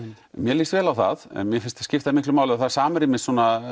mér líst vel á það en mér finnst skipta miklu máli og það samræmist